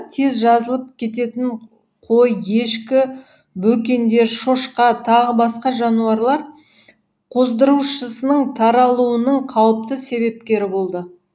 тез жазылып кететін қой ешкі бөкендер шошқа тағы басқа жануарлар қоздырушысының таралуының қауіпті себепкері болды